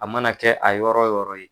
A mana kɛ a yɔrɔ yɔrɔ ye